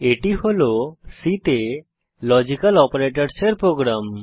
এটি হল C তে লজিক্যাল অপারেটরসের প্রোগ্রাম